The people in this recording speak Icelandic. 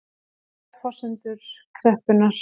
Ólíkar forsendur kreppunnar